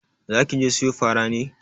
Zaki je siyo fara ne?